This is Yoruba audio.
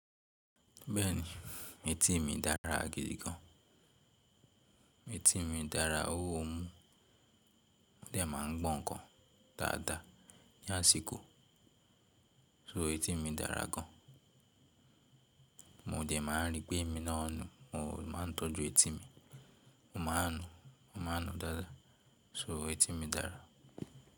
Bẹ́ẹ̀ni, etí mi dára gidi gan. Etí mi dára, ó wo omú, o de máa ń gbọ̀n-ǹkan dáadáa, lásìkò, so etí mi dára gan. Mo de máa ń ri pé èmi náà nù, mo máa ń tọ́jú etí mi. Mo máa ń nú, mo máa ń nú dáadáa, so etí mi dára.